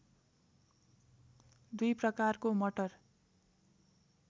दुई प्रकारको मटर